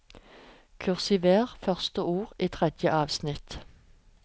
Kursiver første ord i tredje avsnitt